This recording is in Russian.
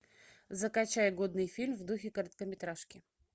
закачай годный фильм в духе короткометражки